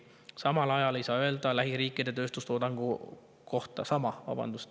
Sama ei saa aga öelda lähiriikide tööstustoodangu olukorra kohta.